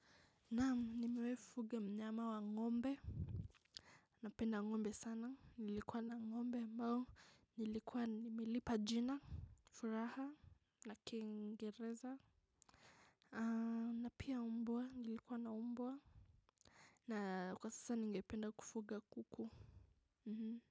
Naam nimewahi fuga mnyama wa ngombe. Napenda ngombe sana nilikuwa na ngombe ambayo nilikuwa nimelipa jina Furaha na kingereza. Na piya umbwa nilikuwa na umbwa. Na kwa sasa ningependa kufuga kuku mmh.